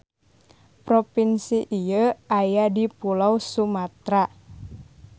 Propinsi ieu aya di Pulo Sumatra.